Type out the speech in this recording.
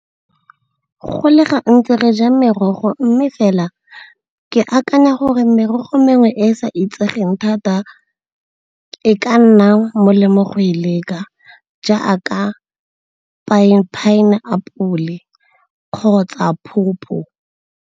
Go le gantsi re ja merogo mme fela ke akanya gore merogo mengwe e e sa itsegeng thata e ka nna molemo go e leka jaaka pine apole kgotsa pawpaw.